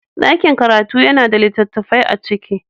Daƙin karatu yana da littattafai a ciki.